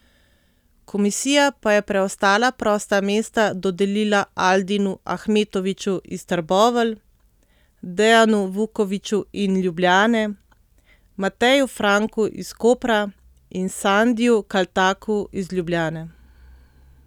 Komisija pa je preostala prosta mesta dodelila Aldinu Ahmetoviću iz Trbovelj, Dejanu Vukoviću in Ljubljane, Mateju Franku iz Kopra in Sandiju Kaltaku iz Ljubljane.